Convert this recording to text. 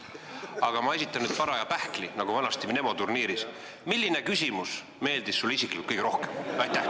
Aga ma esitan nüüd paraja pähkli, nagu vanasti "Mnemoturniiris": milline küsimus meeldis sulle isiklikult kõige rohkem?